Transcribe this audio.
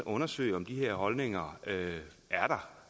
undersøge om de her holdninger er der